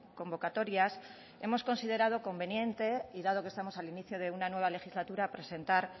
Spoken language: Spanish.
convocatorias hemos considerado conveniente y dado que estamos al inicio de una nueva legislatura presentar